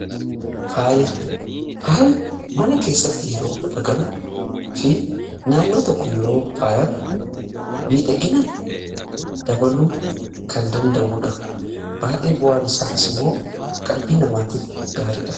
Faaya: faayi mana keessatti yeroo argamu fi naannoo tokko yeroo faayan midhagina dabaluu kan danda'udha. Baay'ee bu'aan isaatiis immoo qalbii namaatiif gaariidha.